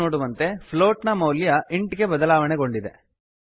float float ನ ಮೌಲ್ಯ int int ಗೆ ಬದಲಾವಣೆಗೊಂಡಿದೆ